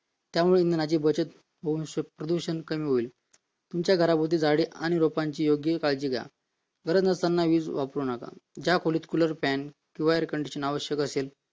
त्यामुळे इंधनाची बचत होऊन प्रदूषण कमी होईल तुमच्या घराच्या भोवती झाडे आणि रोपांची काळजी घ्या गरज नसताना वीज वापरू नका ज्या खोलीत cooler fan किंवा air conditioners आवश्यक असेल